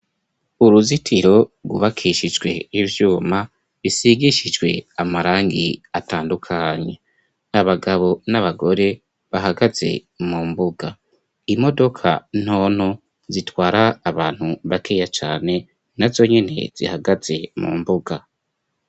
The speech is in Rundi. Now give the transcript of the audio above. Uruzitiro rwubakishijwe ivyuma, bisigishijwe amarangi atandukanye, abagabo n'abagore bahagaze mu mbuga, imodoka ntono zitwara abantu bakeya cane, nazo nyene zihagaze mu mbuga.